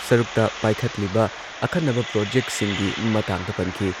ꯁꯔꯨꯛꯇ ꯄꯥꯏꯈꯠꯂꯤꯕ ꯑꯈꯟꯅꯕ ꯄ꯭ꯔꯣꯖꯦꯛꯁꯤꯡꯒꯤ ꯃꯇꯥꯡꯗ ꯄꯟꯈꯤ꯫